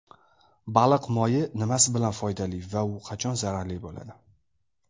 Baliq moyi nimasi bilan foydali va u qachon zararli bo‘ladi?.